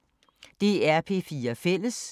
DR P4 Fælles